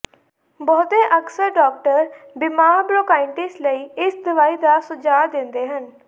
ਬਹੁਤੇ ਅਕਸਰ ਡਾਕਟਰ ਬਿਮਾਰ ਬ੍ਰੋਂਕਾਈਟਿਸ ਲਈ ਇਸ ਦਵਾਈ ਦਾ ਸੁਝਾਅ ਦਿੰਦੇ ਹਨ